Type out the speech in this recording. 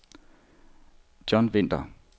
John Winther